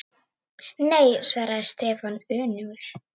Nei svaraði Stefán önugur.